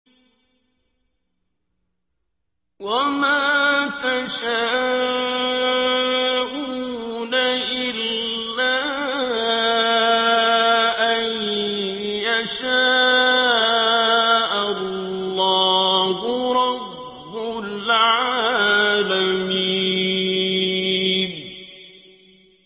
وَمَا تَشَاءُونَ إِلَّا أَن يَشَاءَ اللَّهُ رَبُّ الْعَالَمِينَ